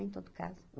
Em todo caso.